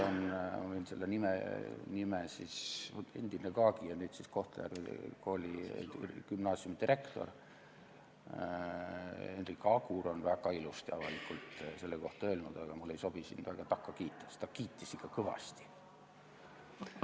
Endine GAG-i ja nüüdne Kohtla-Järve Gümnaasiumi direktor Hendrik Agur on väga ilusasti avalikult selle kohta öelnud, aga mul ei sobi takka kiita, sest ta kiitis seda ikka kõvasti.